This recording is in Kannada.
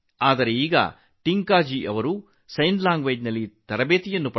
ಈಗ ಟಿಂಕಾಜಿ ಸಹ ಸಂಜ್ಞೆ ಭಾಷೆಯ ತರಬೇತಿಯನ್ನು ಪಡೆದಿದ್ದಾರೆ